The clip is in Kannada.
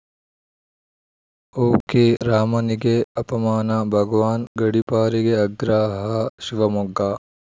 ಓಕೆರಾಮನಿಗೆ ಅಪಮಾನ ಭಗವಾನ್‌ ಗಡಿಪಾರಿಗೆ ಆಗ್ರಹ ಶಿವಮೊಗ್ಗ